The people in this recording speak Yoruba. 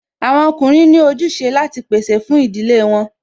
Àwọn ọkùnrin ní ojúse láti pèsè fún ìdílé wọn